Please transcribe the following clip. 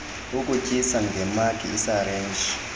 ukutyisa ngemagi isirinji